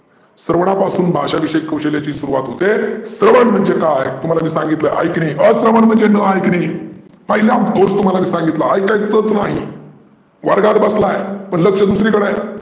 स्रवनापासून भाषा विष्यक कौशल्याची सुरवात होते. स्रवन म्हणजे काय? तुम्हाला मी सांगितल ऐकने. अस्रवन म्हणजे न ऐकने. पहीला दोष मी तुम्हाला सांगितला ऐकायचच नाही. वर्गात बसला आहे लक्ष दुसरी कड आहे.